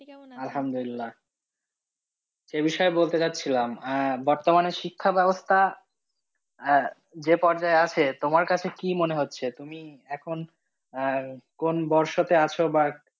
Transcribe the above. কেমন আছেন? এ বিষয়ে বলতে যাচ্ছিলাম আহ বর্তমানে শিক্ষা ব্যবস্থা যে পর্যায়ে আছে, তোমার কাছে কি মনে হচ্ছে? তুমি এখন আহ কোন বৰ্ষতে আছো বা